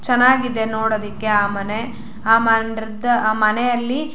ಚನ್ನಾಗಿದೆ ನೋಡದಕ್ಕೆ ಆ ಮನೆ ಆ ಮಂಡ್ರದ ಆ ಮನೆಲಿ --